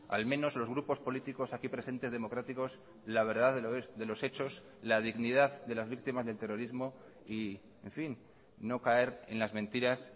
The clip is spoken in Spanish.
al menos los grupos políticos aquí presentes democráticos la verdad de los hechos la dignidad de las víctimas del terrorismo y en fin no caer en las mentiras